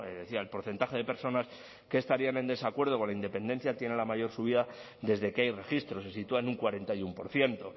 decía el porcentaje de personas que estarían en desacuerdo con la independencia tiene la mayor subida desde que hay registros se sitúa en un cuarenta y uno por ciento